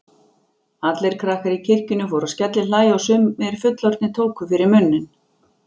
Allir krakkar í kirkjunni fóru að skellihlæja og sumir fullorðnir tóku fyrir munninn.